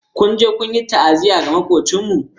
Ku je ku yi ta'aziyya ga Makwabcinmu!